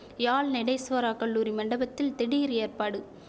யாழ் நடேஸ்வரா கல்லூரி மண்டபத்தில் தீடீர் ஏற்பாடு